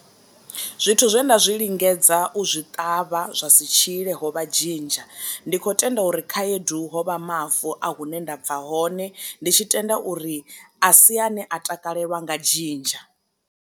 Zwithu zwe nda zwi lingedza u zwi ṱavha zwa si tshile ho vha dzhinzha. Ndi kho tenda uri khaedu hovha mavu a hune ndabva hone ndi tshi tenda uri a si ane a takalelwa nga dzhinzha.